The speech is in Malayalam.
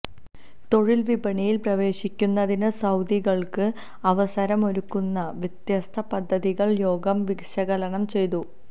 തൊഴില് വിപണിയില് പ്രവേശിക്കുന്നതിന് സൌദികള്ക്ക് അവസരമൊരുക്കുന്ന വ്യത്യസ്ത പദ്ധതികള് യോഗം വിശകലനം ചെയ്തു